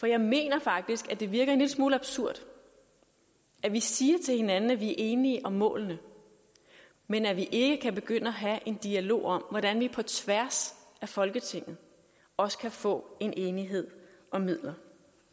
jeg mener faktisk at det virker en lille smule absurd at vi siger til hinanden at vi er enige om målene men at vi ikke kan begynde at have en dialog om hvordan vi på tværs af folketinget også kan få en enighed om midlerne